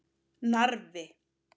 Narfi